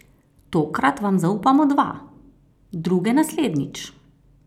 Tokrat vam zaupamo dva, druge naslednjič.